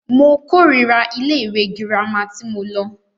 Mo kòrira ilé ìwé gírámà tí mo lọ.